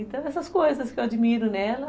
Então, essas coisas que eu admiro nela.